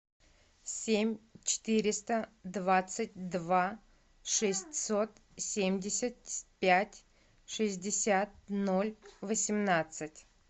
семь четыреста двадцать два шестьсот семьдесят пять шестьдесят ноль восемнадцать